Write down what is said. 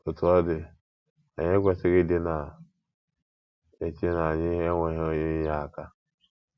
Otú ọ dị, anyị ekwesịghị ịdị na - eche na anyị enweghị onye inyeaka.